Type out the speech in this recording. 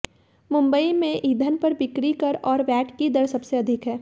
मुंबई में ईंधन पर बिक्री कर और वैट की दर सबसे अधिक है